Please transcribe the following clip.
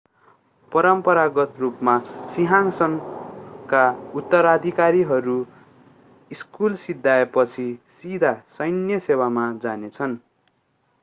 परम्परागत रूपमा सिंहासनका उत्तराधिकारीहरू स्कुल सिध्याएपछि सिधा सैन्य सेवामा जानेछन्